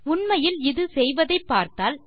உண்மையில் இது செய்வதை பார்த்தால்